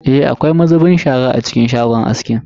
Eh, akwai mazubin shara a cikin shagon askin.